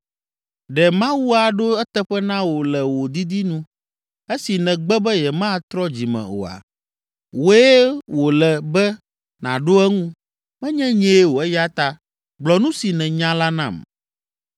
Ɖe Mawu aɖo eteƒe na wò le wò didi nu, esi nègbe be yematrɔ dzi me oa? Wòe wòle be nàɖo eŋu, menye nyee o eya ta gblɔ nu si nènya la nam.